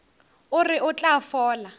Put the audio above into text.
o re o tla fola